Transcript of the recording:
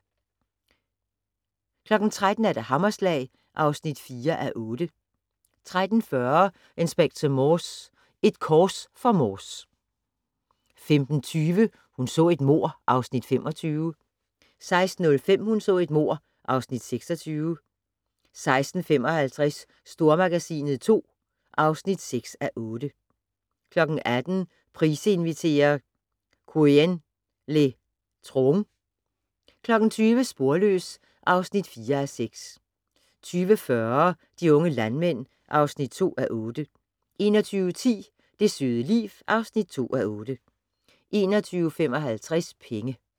13:00: Hammerslag (4:8) 13:40: Inspector Morse: Et kors for Morse 15:20: Hun så et mord (Afs. 25) 16:05: Hun så et mord (Afs. 26) 16:55: Stormagasinet II (6:8) 18:00: Price inviterer - Quyen le Troung 20:00: Sporløs (4:6) 20:40: De unge landmænd (2:8) 21:10: Det søde liv (2:8) 21:55: Penge